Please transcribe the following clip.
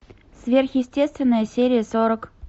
сверхъестественное серия сорок